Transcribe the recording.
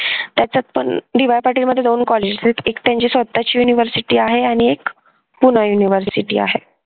त्याच्यात पण DY पाटील मध्ये दोन कॉलेज आहेत एक त्यांची स्वतःची university आहे आणि एक पुणा university आहे